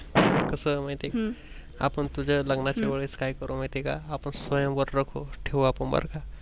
कस माहित आहे का आपण तुझ्या लग्नानाच्या वेळेस काय करू माहित आहे का आपण स्वयंवर ठेवू बर का